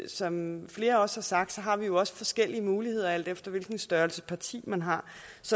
som flere også har sagt har vi jo også forskellige muligheder alt efter hvilken størrelse parti man har